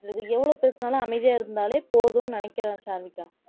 அது எவ்வளவு பேசினாலும் அமைதியா இருந்தாலே போதும்னு நினைக்கிறேன் சாருவிகா